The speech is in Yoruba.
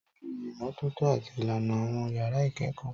Tọ́jú ìmọ́tótó àti ìlànà àwọn yàrá ìkẹ́kọ̀ọ́.